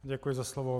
Děkuji za slovo.